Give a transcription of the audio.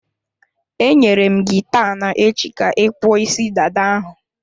Enyere m gị taa na-echi ka ị kpụọ isi dada ahụ.